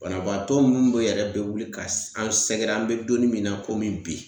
Banabaatɔ mun be yɛrɛ be wuli ka an sɛgɛrɛ an be donni min na komi bi